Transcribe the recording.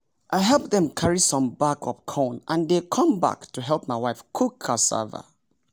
i help them carry some bag of corn and they come back to help my wife cook cassava.